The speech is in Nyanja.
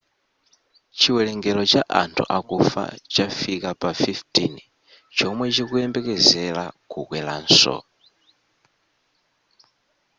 chiwelengero cha anthu akufa chafika pa 15 chomwe chikuyembekezera kukweranso